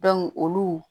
olu